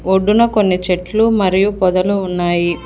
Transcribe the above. ఒడ్డున కొన్ని చెట్లు మరియు పొదలు ఉన్నాయి.